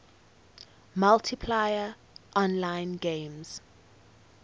multiplayer online games